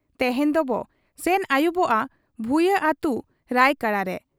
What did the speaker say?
ᱛᱮᱦᱮᱧ ᱫᱚᱵᱚ ᱥᱮᱱ ᱟᱹᱭᱩᱵᱚᱜ ᱟ ᱵᱷᱩᱭᱟᱺ ᱟᱹᱛᱩ ᱨᱟᱭᱠᱚᱲᱟᱨᱮ ᱾